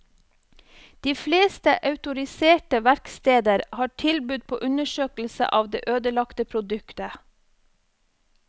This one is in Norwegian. De fleste autoriserte verksteder har tilbud på undersøkelse av det ødelagte produktet.